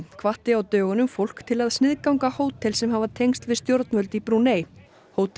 hvatti á dögunum fólk til að sniðganga hótel sem hafa tengsl við stjórnvöld í Brúnei hótelin